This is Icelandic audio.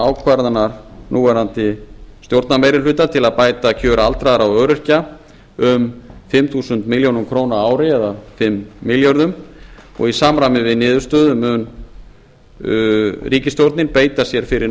ákvarðana núverandi stjórnarmeirihluta til að bæta kjör aldraðra og öryrkja um fimm þúsund milljónir króna á ári eða fimm milljörðum og í samræmi við niðurstöður mun ríkisstjórnin beita sér fyrir